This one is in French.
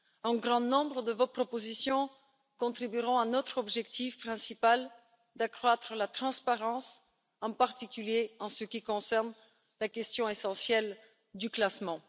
Un grand nombre de vos propositions contribueront à notre objectif principal d'accroître la transparence, en particulier en ce qui concerne la question essentielle du classement.